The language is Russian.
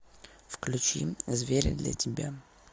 включи звери для тебя